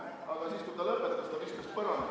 Aga siis, kui ta lõpetas, viskas ta need põrandale.